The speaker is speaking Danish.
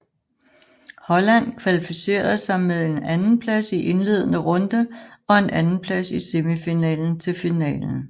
Holland kvalificerede sig med en andenplads i indledende runde og en andenplads i semifinalen til finalen